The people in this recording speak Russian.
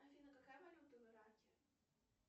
афина какая валюта в ираке